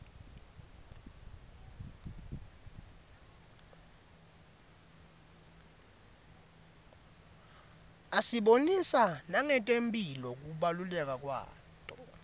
asibonisa nangetemphilo kubaluleka kwato